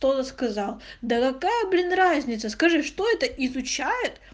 кто то сказал да какая блин разница скажи что это изучает